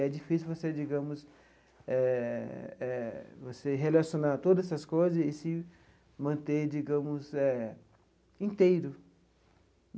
E é difícil você, digamos, eh eh relacionar todas essas coisas e se manter, digamos, eh inteiro.